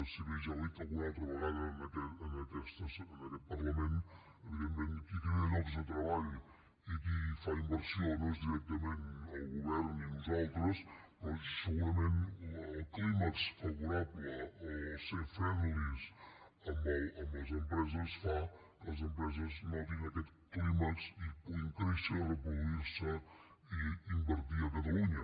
si bé ja ho he dit alguna altra vegada en aquest parlament evidentment qui crea llocs de treball i qui fa inversió no és directament el govern ni nosaltres però segurament el clímax favorable ser friendlys amb les empreses fa que les empreses notin aquest clímax i puguin créixer reproduir se i invertir a catalunya